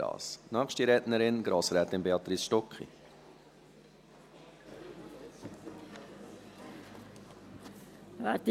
Die nächste Rednerin ist Grossrätin Béatrice Stucki.